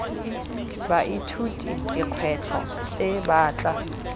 baithuti dikgwetlho tse ba tla